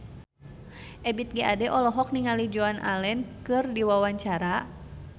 Ebith G. Ade olohok ningali Joan Allen keur diwawancara